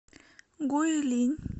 гуйлинь